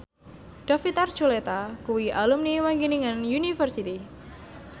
David Archuletta kuwi alumni Wageningen University